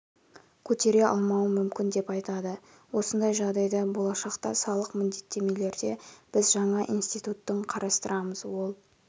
көтере алмауым мүмкін деп айтады осындай жағдайда болашақта салық міндеттемелерде біз жаңа инститтуттың қарастырамыз ол